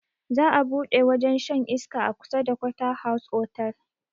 Za a buɗe wajen shan iska a kusa da quarter house otal